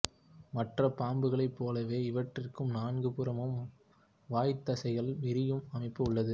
மற்ற பாம்புகளை போலவே இவற்றிற்கும் நான்கு புறமும் வாய்த்தசைகள் விரியும் அமைப்பு உள்ளது